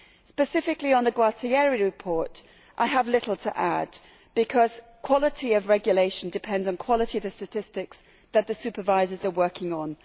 Specifically on the Gualtieri report I have little to add, because quality of regulation depends on quality of the statistics that the supervisors are working on.